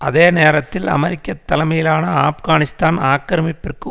அதே நேரத்தில் அமெரிக்க தலைமையிலான ஆப்கானிஸ்தான் ஆக்கிரமிப்பிற்கு